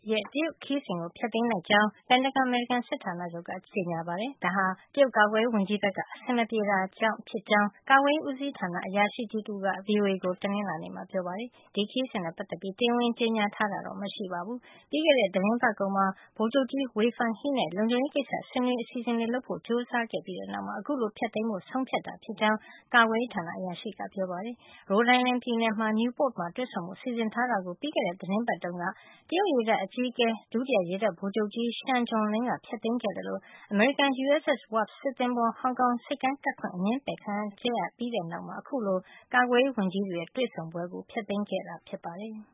ရဲ့ တရုတ်ခရီးစဉ်ကို ဖျက်သိမ်းလိုက်ကြောင်း ပင်တာဂွန် အမေရိကန်စစ်ဌာနချုပ်က ကြေညာပါတယ်။ ဒါဟာ တရုတ်ကာကွယ်ရေးဝန်ကြီးဘက်က အဆင်မပြေတာကြောင့်ဖြစ်ကြောင်း ကာကွယ်ရေးဌာန အရာရှိတဦးက VOA ကို တနင်္လာနေ့မှာ ပြောပါတယ်။ ဒီခရီးစဉ်နဲ့ ပတ်သက်ပြီး တရားဝင်ကြေညာထားတာတော့ မရှိပါဘူး။ ပြီးခဲ့တဲ့ သီတင်းပတ်ကုန်မှာ ဗိုလ်ချုပ်ကြီး Wei Fenghe နဲ့ လုံခြုံရေးကိစ္စ ဆွေးနွေးရေး အစီအစဉ်တွေလုပ်ဖို့ ကြိုးစားခဲ့ပြီးတဲ့နောက်မှာ အခုလို ဖျက်သိမ်းဖို့ ဆုံးဖြတ်ခဲ့တာ ဖြစ်ကြောင်း ကာကွယ်ရေးဌာန အရာရှိကပြောပါတယ်။ Rhode Island ပြည်နယ် Newport မှာ တွေ့ဆုံဖို့ စီစဉ်ထားတာကို ပြီးခဲ့တဲ့ သီတင်းပတ်တုန်းက တရုတ်ရေတပ်အကြီးအကဲ ဒုတိယရေတပ်ဗိုလ်ချုပ်ကြီး Shen Jinlong က ဖျက်သိမ်းခဲ့သလို အမေရိကန် USS Wasp စစ်သဘောၤ ဟောင်ကောင်ဆိပ်ကမ်းကပ်ခွင့် အငြင်းပယ်ခံခဲ့ရ ပြီးတဲ့နောက်မှာ အခုလို ကာကွယ်ရေးဝန်ကြီးတွေရဲ့ တွေ့ဆုံပွဲကို ဖျက်သိမ်းခဲ့တာဖြစ်ပါတယ်။